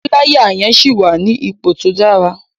Sé píláyà yẹn síì wà ní ipò tó dára?